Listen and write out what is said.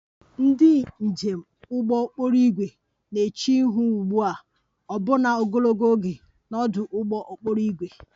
Ndị njem ụgbọ okporo ígwè na-eche ihu ugbu a ọbụna ogologo oge na ọdụ ụgbọ okporo ígwè